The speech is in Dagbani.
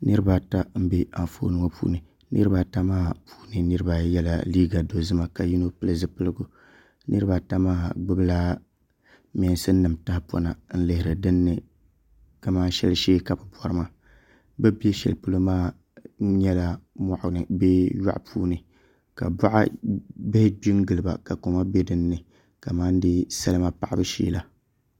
Niraba ata n bɛ anfooni ŋo puuni niraba ata maa puuni niraba ayi yɛla liiga dozima ka yino pili zipiligu niraba ata maa gbubila mɛnsin nim tahapona n lihiri dinni kamani shɛli shee ka bi bori maa bi ni bɛ shɛli polo maa nyɛla moɣani bee yoɣu puuni ka boɣa bihi gbi n giliba ka koma bɛ dinni kamani dee salima paɣabau shee la